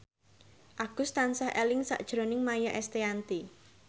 Agus tansah eling sakjroning Maia Estianty